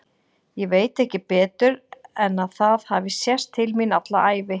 Ég veit ekki betur en að það hafi sést til mín alla ævi.